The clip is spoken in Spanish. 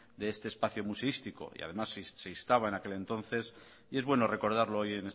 de este espacio museístico y además se instaba en aquel entonces y es bueno recordarlo hoy